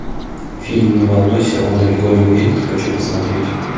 фильм не волнуйся он далеко не уедет хочу посмотреть